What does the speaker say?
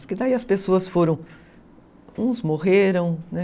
Porque daí as pessoas foram... Uns morreram, né?